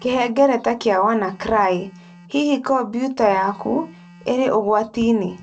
Kĩhengereta kĩa WannaCry: Hihi Kombiuta yaku ĩrĩ ũgwati-inĩ?